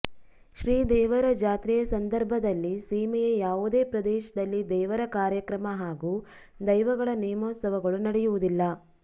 ಶ್ರೀದೇವರ ಜಾತ್ರೆಯ ಸಂದರ್ಭದಲ್ಲಿ ಸೀಮೆಯ ಯಾವುದೇ ಪ್ರದೇಶದಲ್ಲಿ ದೇವರ ಕಾರ್ಯಕ್ರಮ ಹಾಗೂ ದೈವಗಳ ನೇಮೋತ್ಸವಗಳು ನಡೆಯುವುದಿಲ್ಲ